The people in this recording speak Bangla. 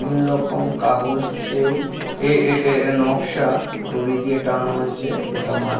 বিভিন্ন রকম কাগজের এ এ নকশা দড়ি দিয়ে টাঙানো হয়েছে গোটা মাঠ।